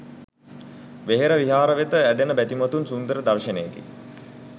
වෙහෙර විහාර වෙත ඇදෙන බැතිමතුන් සුන්දර දර්ශනයකි.